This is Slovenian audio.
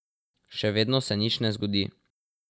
Še vedno se nič ne zgodi.